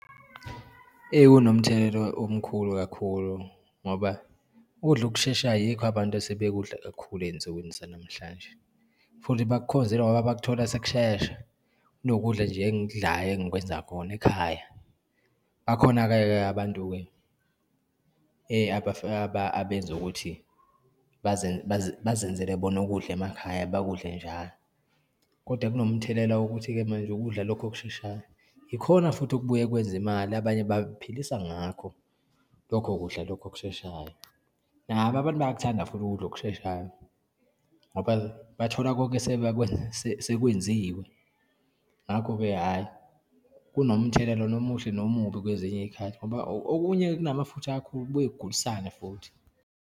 Kunomthelela omkhulu kakhulu ngoba ukudla ukusheshayo yikho abantu asebekudla kakukhulu eyinsukwini zanamhlanje, futhi bakukhonzile ngoba bakuthola sekushesha, kunokudla nje engikudlayo, engikwenza khona ekhaya. Bakhona-ke ke abantu-ke abenza ukuthi bazenzele bona ukudla emakhaya, bakudla njalo. Kodwa kunomthelela wokuthi-ke manje, lokudla lokhu okusheshayo ikhona futhi okubuye kwenza imali, abanye bayiphilisa ngakho lokho kudla lokho okusheshayo. Nabo abantu bayakuthanda futhi ukudla okusheshayo ngoba bathola konke sekwenziwe. Ngakho-ke, hhayi kunomthelela nomuhle nomubi kwezinye iyikhathi ngoba okunye kunamafutha kakhule kubuye kugulisane futhi.